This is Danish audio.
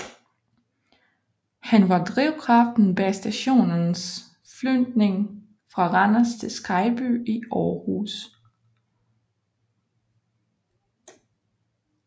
Han var drivkraften bag stationens flytning fra Randers til Skejby i Aarhus